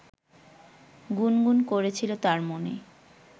গুনগুন করেছিল তার মনে